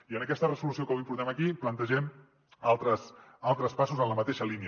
i en aquesta resolució que avui portem aquí plantegem altres passos en la mateixa línia